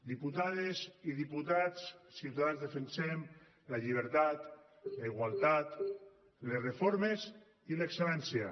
diputades i diputats ciutadans defensem la llibertat la igualtat les reformes i l’excel·lència